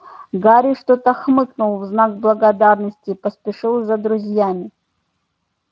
гарри что-то хмыкнул в знак благодарности и поспешил за друзьями